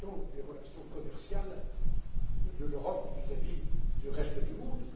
les relations commerciales de l'Europe avec le reste du monde.